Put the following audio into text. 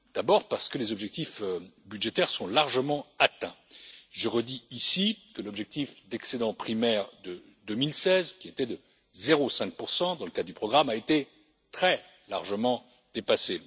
D'abord parce que les objectifs budgétaires sont largement atteints. Je redis ici que l'objectif d'excédent primaire de 2016, qui était de 0,5 dans le cadre du programme, a été très largement dépassé.